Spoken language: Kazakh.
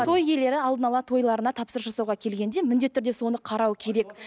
той иелері алдына ала тойларына тапсырыс жасауға келгенде міндетті түрде соны қарау керек